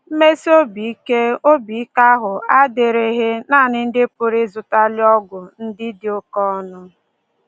Mmesi obi ike obi ike ahụ adịrịghị nanị ndị pụrụ ịzụtali ọgwụ ndị dị oké ọnụ